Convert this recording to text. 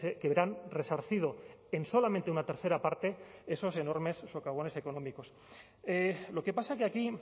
que verán resarcido en solamente una tercera parte esos enormes socavones económicos lo que pasa que aquí